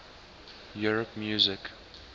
europe music